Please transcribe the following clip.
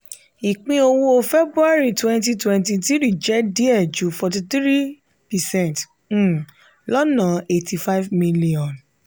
ìpín owó february 2023 jẹ́ díẹ̀ ju 43 percent um lọ́nà ₦85000000.